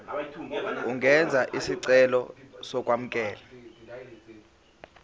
ungenza isicelo sokwamukelwa